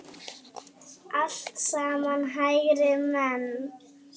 Allt saman hægri menn!